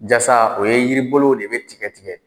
Jasa, o ye yiri bolow de bɛ tigɛ tigɛ